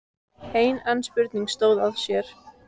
Enn ein spurningin stóð á sér.